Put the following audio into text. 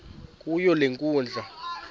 kuyo le nkundla